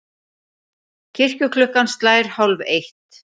Kirkjuklukkan slær hálfeitt.